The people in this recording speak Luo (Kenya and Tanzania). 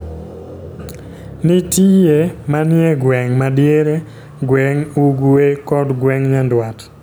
Nitiye manie gweng' ma diere, gweng' Ugwe, kod gweng' Nyandwat.